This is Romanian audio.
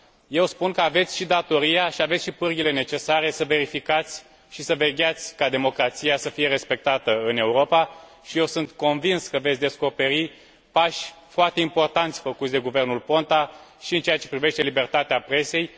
Eu spun că aveți și datoria și aveți și pârghiile necesare să verificați și să vegheați ca democrația să fie respectată în Europa și eu sunt convins că veți descoperi pași foarte importanți făcuți de guvernul Ponta și în ceea ce privește libertatea presei.